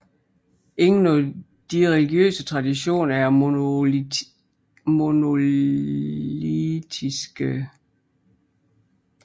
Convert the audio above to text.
Ingen af disse religiøse traditioner er monolitiske